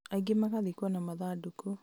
aingĩ magathikwo na mathandũkũ